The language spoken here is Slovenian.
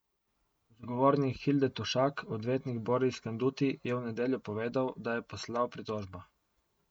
Zagovornik Hilde Tovšak, odvetnik Boris Kanduti, je v nedeljo povedal, da je poslal pritožbo.